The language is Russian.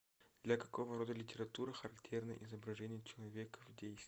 для какого рода литературы характерно изображение человека в действии